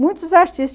Muitos.